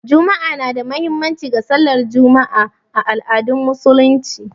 Juma'a na da muhimmanci ga sallar Juma'a a al'adun Musulunci